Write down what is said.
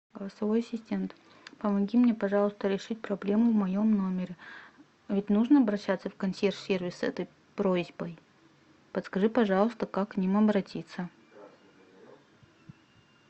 голосовой ассистент помоги мне пожалуйста решить проблему в моем номере ведь нужно обращаться в консьерж сервис с этой просьбой подскажи пожалуйста как к ним обратиться